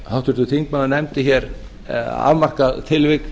háttvirtur þingmaður nefndi hér afmarkað tilvik